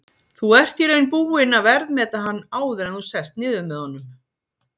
Þú ert í raun búinn að verðmeta hann áður en þú sest niður með honum?